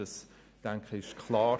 Ich denke, das ist klar: